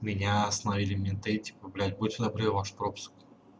меня остановили менты типа блять будьте добры ваш пропуск